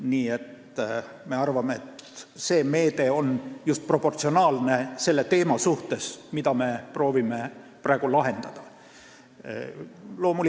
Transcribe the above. Nii et me arvame, et meie meede on proportsionaalne selle teema puhul, mida me proovime praegu lahendada.